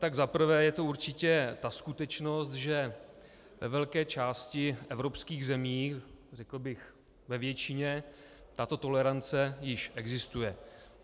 Tak za prvé je to určitě ta skutečnost, že ve velké části evropských zemí, řekl bych ve většině, tato tolerance již existuje.